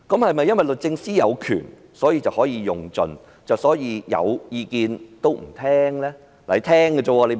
是否因律政司司長有權，所以可以盡用，因而有意見也不聆聽呢？